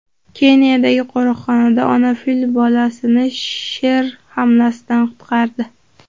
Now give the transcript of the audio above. Keniyadagi qo‘riqxonada ona fil bolasini sher hamlasidan qutqardi .